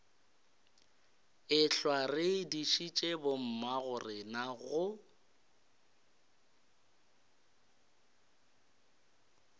ehlwa re dišitše bommagorena go